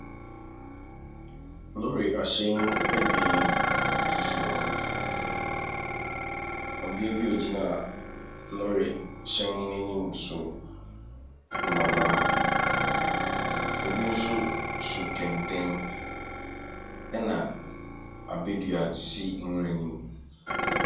Lorry ahyɛn abien sisi hɔ. Ↄbea bi a ɔgyina lorry hyɛn no anim nso mmabaa. Obi nso so kɛntɛn ɛna abɛdua si nwura no mu.